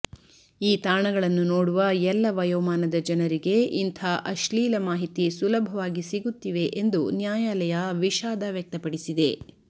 ಈ ತಾಣಗಳನ್ನು ನೋಡುವ ಎಲ್ಲ ವಯೋಮಾನದ ಜನರಿಗೆ ಇಂಥ ಅಶ್ಲೀಲ ಮಾಹಿತಿ ಸುಲಭವಾಗಿ ಸಿಗುತ್ತಿವೆ ಎಂದು ನ್ಯಾಯಾಲಯ ವಿಷಾದ ವ್ಯಕ್ತಪಡಿಸಿದೆ